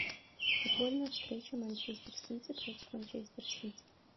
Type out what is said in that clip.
футбольная встреча манчестер сити против манчестер сити